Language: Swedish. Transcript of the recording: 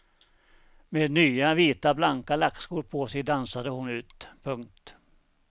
Med nya vita blanka lackskor på sig dansade hon ut. punkt